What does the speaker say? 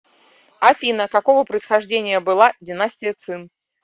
афина какого происхождения была династия цин